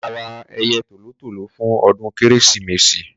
a máa ra ẹyẹ tòlótòló fún ọdún kérésìmesì